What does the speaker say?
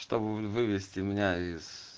чтобы вывести меня из